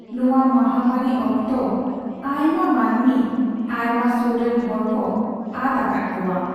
ᱱᱚᱣᱟ ᱢᱟᱦᱟᱢᱟᱹᱨᱤ ᱚᱠᱛᱚ ᱟᱭᱢᱟ ᱢᱟᱹᱱᱢᱤ ᱟᱭᱢᱟ ᱥᱚᱨᱨᱮᱱ ᱦᱚᱲᱠᱚ ᱟᱫᱼᱟᱠᱟᱫ ᱠᱚᱣᱟ ᱾